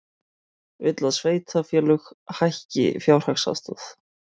Vill að sveitarfélög hækki fjárhagsaðstoð